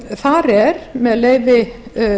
þar er með leyfi